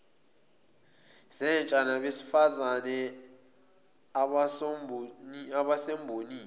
zentsha nabesifazane abasembonini